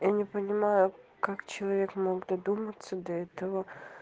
я не понимаю как человек мог додуматься до этого